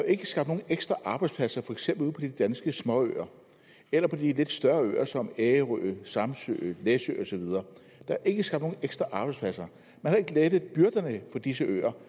ikke skabt nogen ekstra arbejdspladser for eksempel ude på de danske småøer eller på de lidt større øer som ærø samsø læsø og så videre der er ikke skabt nogen ekstra arbejdspladser man har ikke lettet byrderne for disse øer